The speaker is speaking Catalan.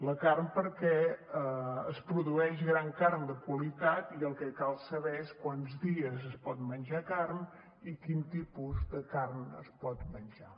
la carn perquè es produeix gran carn de qualitat i el que cal saber és quants dies es pot menjar carn i quin tipus de carn es pot menjar